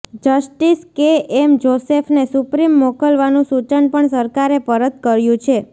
justice K M જોસેફને supreme મોકલવાનું સૂચન પણ સરકારે પરત કર્યું છે